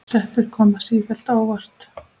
Sveppir koma sífellt á óvart!